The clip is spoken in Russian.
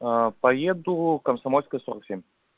поеду комсомольская сорок семь